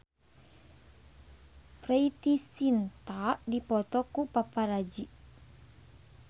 Preity Zinta dipoto ku paparazi